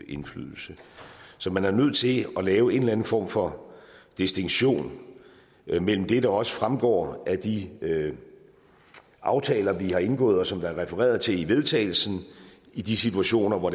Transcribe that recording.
indflydelse så man er nødt til at lave en eller anden form for distinktion mellem det der også fremgår af de aftaler vi har indgået og som der er refereret til vedtagelse i de situationer hvor